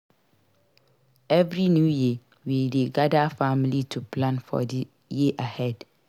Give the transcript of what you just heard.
Every New Year we dey gather family to plan for the year ahead.